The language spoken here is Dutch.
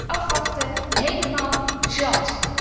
Ik ben dit afwachten helemaal zat.